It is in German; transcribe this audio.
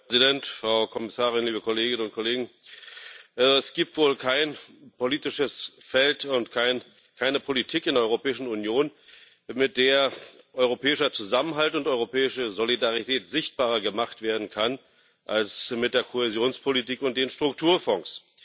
Herr Präsident, Frau Kommissarin, liebe Kolleginnen und Kollegen! Es gibt wohl kein politisches Feld und keine Politik in der Europäischen Union, mit der europäischer Zusammenhalt und europäische Solidarität sichtbarer gemacht werden können als mit der Kohäsionspolitik und mit den Strukturfonds.